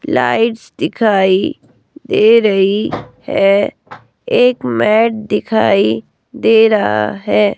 Lights दिखाई दे रही है एक मैट दिखाई दे रहा है।